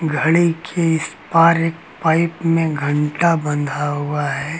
घड़ी के इस पार एक पाइप में एक घंटा बंधा हुआ है।